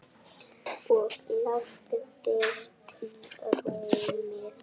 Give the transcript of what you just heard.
Og lagðist í rúmið.